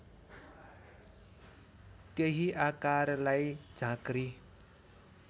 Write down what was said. त्यही आकारलाई झाँक्री